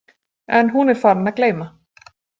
En hún er farin að gleyma.